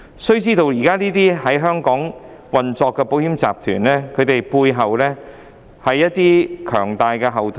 須知道，現時這些在香港營運的保險集團，背後也有一些強大後盾。